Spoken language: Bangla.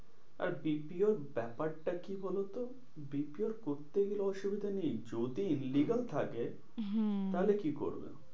আর BPO ব্যাপারটা কি বলোতো? BPO করতে অসুবিধা নেই যদি illegal থাকে, হ্যাঁ তাহলে কি করবে?